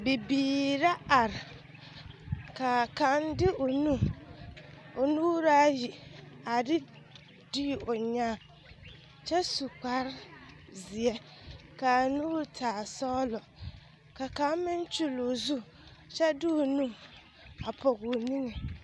Bibiiri la are ka kaŋ de o nu o nuuri aya a de dii o nyãã kyɛ su kparezeɛ k,a nuuri taa sɔglɔ ka kaŋ meŋ kyulli o zu kyɛ de o nu a pɔge o niŋe.